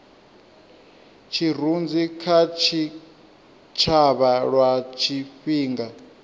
tshirunzi kha tshitshavha lwa tshifhinga